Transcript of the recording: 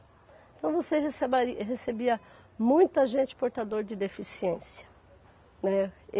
Então você recebari recebia muita gente portador de deficiência, né.